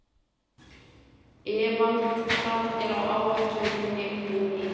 Evald, hvað er á áætluninni minni í dag?